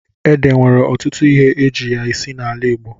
Ede nwere ọtụtụ ihe eji ya esi n'ala Igbo.